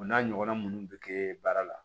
O n'a ɲɔgɔnna minnu bɛ kɛ baara la